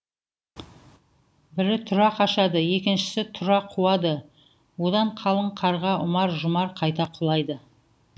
бірі тұра қашады екіншісі тұра қуады одан қалың қарға ұмар жұмар қайта құлайды